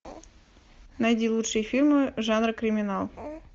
найди лучшие фильмы жанра криминал